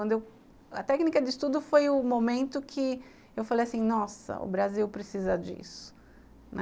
Quando eu, a técnica de estudo foi o momento que eu falei assim, nossa, o Brasil precisa disso.